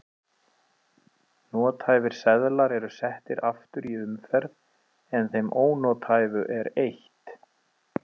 Nothæfir seðlar eru settir aftur í umferð en þeim ónothæfu er eytt.